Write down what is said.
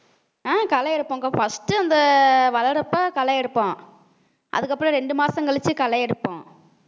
அஹ் களை எடுப்போம்க்கா first அந்த வளரப்ப களை எடுப்போம் அதுக்கப்புறம் ரெண்டு மாசம் கழிச்சு களை எடுப்போம்